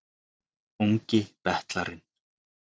Ungi betlarinn